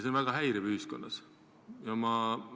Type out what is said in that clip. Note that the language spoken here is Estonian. See on ühiskonnas väga häiriv.